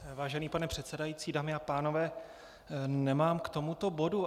Vážený pane předsedající, dámy a pánové, nemám k tomuto bodu.